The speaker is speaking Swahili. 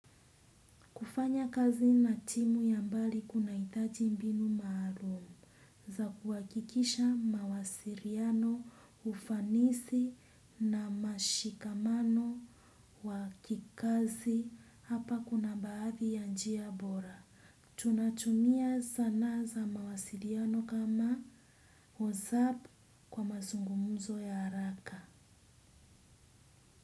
Kufanya kazi na timu ya mbali kuna hitaji mbinu maalum za kuhakikisha mawasiriano ufanisi na mashikamano wa kikazi hapa kuna baadhi ya njia bora. Tunatumia sana za mawasiliano kama Whatsapp kwa mazungumuzo ya haraka.